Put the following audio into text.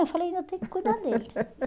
Eu falei, ainda tenho que cuidar dele.